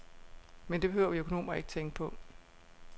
Men det behøver vi økonomer ikke tænke på.